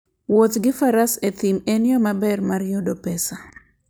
Wuoth gi Faras e thim en yo maber mar yudo pesa.